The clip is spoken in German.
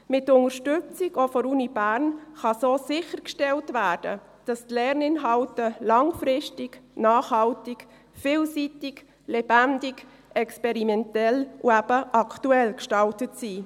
Mit Unterstützung, auch der Universität Bern, kann so sichergestellt werden, dass die Lerninhalte langfristig, nachhaltig, vielseitig, lebendig, experimentell und eben aktuell gestaltet sind.